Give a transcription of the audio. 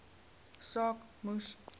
saak moes